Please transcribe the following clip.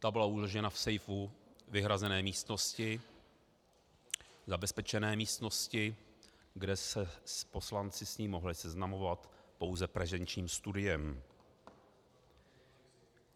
Ta byla uložena v sejfu vyhrazené místnosti, zabezpečené místnosti, kde se poslanci s ní mohli seznamovat pouze prezenčním studiem.